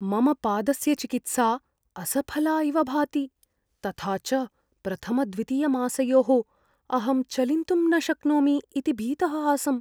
मम पादस्य चिकित्सा असफला इव भाति, तथा च प्रथमद्वितीयमासयोः अहं चलिन्तुं न शक्नोमि इति भीतः आसम्।